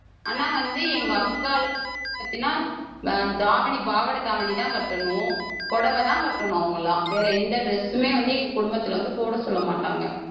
ஆனா வந்து எங்க அக்காள் பாத்தீங்கன்னா ஆஹ் தாவணி பாவாடை தாவணிதான் கட்டணும். புடவைதான் கட்டணும் அவங்கெல்லாம். வேற எந்த dress மே வந்து எங்க குடும்பத்தில வந்து போட சொல்லமாட்டாங்க.